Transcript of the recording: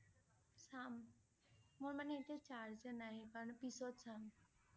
চাম। মোৰ মানে এতিয়া charge এ নাই সেইকাৰণে পিছত চাম